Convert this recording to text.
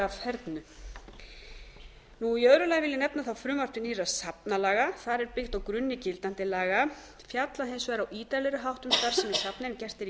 öðru lagi vil ég nefna þá frumvarp til nýrra safnalaga þar er byggt á grunni gildandi laga fjallað hins vegar á ítarlegri hátt um starfsemi safna en gert er í